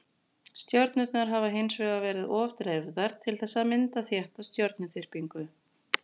Stjörnurnar hafa hins vegar verið of dreifðar til þess að mynda þétta stjörnuþyrpingu.